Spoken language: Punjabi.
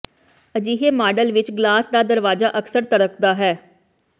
ਅਜਿਹੇ ਮਾਡਲ ਵਿਚ ਗਲਾਸ ਦਾ ਦਰਵਾਜ਼ਾ ਅਕਸਰ ਧੜਕਦਾ ਹੈ